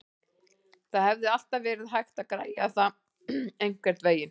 Það hefði alltaf verið hægt að græja það einhvernveginn.